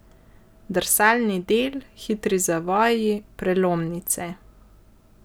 Drsalni del, hitri zavoji, prelomnice ...